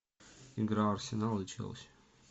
игра арсенал и челси